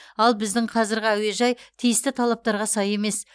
ал біздің қазіргі әуежай тиісті талаптарға сай емес